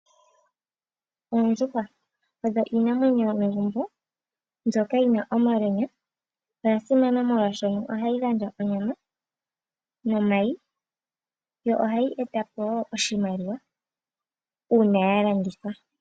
Oondjuhwa odho iinamwenyo yomegumbo mbyoka yina omalwenya. Odha simana molwaashono ohadhi gandja onyama nomayi, yo ohayi e tapo iimaliwa, uuna ya landithwa.